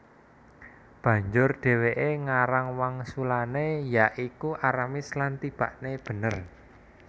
Banjur dhèwèké ngarang wangsulané ya iku Aramis lan tibakné bener